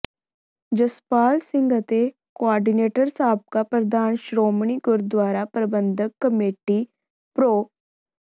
ਜਸਪਾਲ ਸਿੰਘ ਅਤੇ ਕੋਆਰਡੀਨੇਟਰ ਸਾਬਕਾ ਪ੍ਰਧਾਨ ਸ਼੍ਰੋਮਣੀ ਗੁਰਦੁਆਰਾ ਪ੍ਰਬੰਧਕ ਕਮੇਟੀ ਪ੍ਰੋ